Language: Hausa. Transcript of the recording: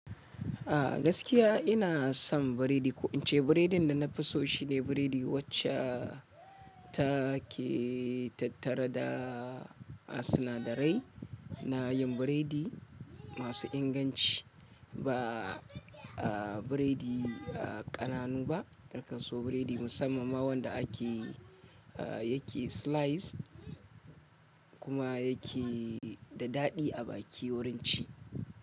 A gaskiya ina son biredi, ko in ce biredin da na fi so shine biredi wacce ta ke tattare da sinadarai. Na yin biredi masu inganci ba biredi ƙananu ba, na kan so biredi musamman ma wanda ake yake slice kuma yake da daɗi a baki wurin ci.